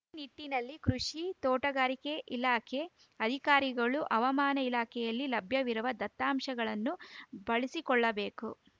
ಈ ನಿಟ್ಟಿನಲ್ಲಿ ಕೃಷಿ ತೋಟಗಾರಿಕೆ ಇಲಾಖೆ ಅಧಿಕಾರಿಗಳು ಹವ್ ಮಾನ ಇಲಾಖೆಯಲ್ಲಿ ಲಭ್ಯವಿರುವ ದತ್ತಾಂಶಗಳನ್ನು ಬಳಸಿಕೊಳ್ಳಬೇಕು